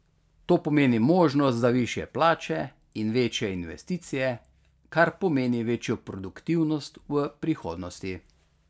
To pomeni možnost za višje plače in večje investicije, kar pomeni večjo produktivnost v prihodnosti.